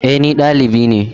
E, ni valibi ne.